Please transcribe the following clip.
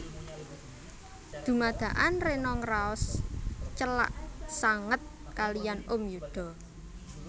Dumadakan Rena ngraos celak sanget kaliyan Om Yuda